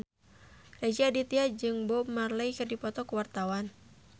Rezky Aditya jeung Bob Marley keur dipoto ku wartawan